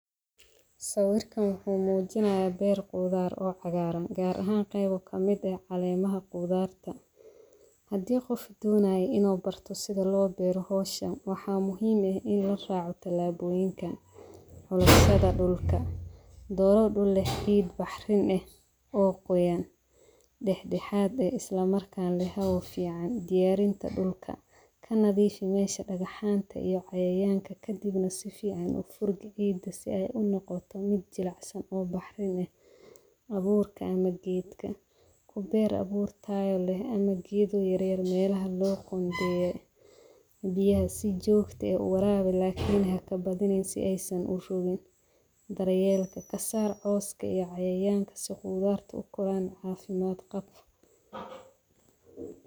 Sawirkan wuxumujinaya ber qudaar oo caqaran, gaar ahan kuwa kamid ah calemaha qudarta, xadi gof donayo inu barto sidha lobaro xowshaan, waxa muxiim eh ini laraco talaboyinkan, xulashada dulka, dooro dul leh ciid bahrin eh oo gooyan, dexdexat eh islamarkana leh xawo fican, diyarinta dulka, kanadifi mesha dagaxanta iyo cayayanka kadibna si fican ufurgi cida si ay unogoto mid jilacsan oo bahrin leh, awurka ama geedka, kubeer awurta taya leh ama gedoo yary melaxa loqondeyey, biyaxa si jogta ah uwarawi, lakin xakabadinin si aay urogin, daryelka kasar cooska iyo cayayanka si qudarta ukoran cafimad qaab.